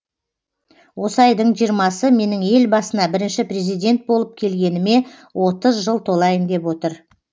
осы айдың жиырмасы менің ел басына бірінші президент болып келгеніме отыз жыл толайын деп отыр